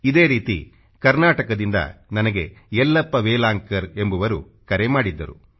ಇದೇ ರೀತಿ ಕರ್ನಾಟಕದಿಂದ ನನಗೆ ಯಲ್ಲಪ್ಪಾ ವೇಲಾಂಕರ್ ಎಂಬುವರು ಕರೆ ಮಾಡಿದ್ದರು